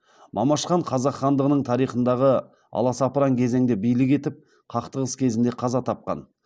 мамаш хан қазақ хандығының тарихындағы аласапыран кезеңде билік етіп қақтығыс кезінде қаза тапқан